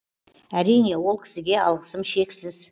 әрине ол кісіге алғысым шексіз